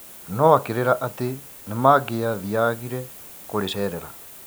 No akĩrĩĩra atĩ nĩmangiathiagire kũrĩcerera.